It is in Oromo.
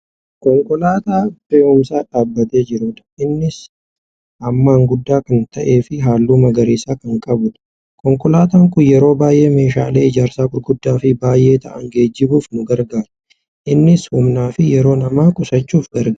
Konkolaataa fe'uumsaa dhaabatee jirudha. Innis hammaan guddaa kan ta'eefi halluu magariisa kan qabudha. Konkolaataan kun yeroo baay'ee meeshaalee ijaarsaa gurguddaafi baay'ee taa'an geejjibuuf nu gargaara. Innis humnaafi yeroo namaa qusachuuf gargaara.